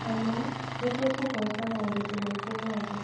Hamwe , nĩtũkũhoota moritũ maitũ mothe.